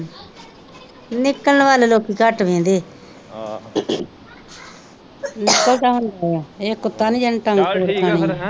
ਨਿਕਲਣ ਵਲ ਲੋਕੀ ਘੱਟ ਵੇਂਹਦੇ ਆ ਨਿਕਲਦਾ ਹੁਣ ਇਹ ਕੁੱਤਾ ਨਹੀਂ ਜਿਨ੍ਹੇ ਤੰਗ ਤੋਰ ਖਾਣੀ